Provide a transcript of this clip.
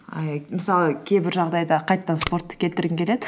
мысалы кейбір жағдайда қайтадан спортты келтіргім келеді